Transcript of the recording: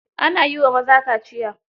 Ana yi wa maza kaciya